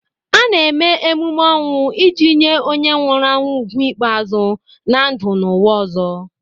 A na-eme emume ọnwụ iji nye onye nwụrụ anwụ ugwu ikpeazụ na ndụ n'ụwa ọzọ.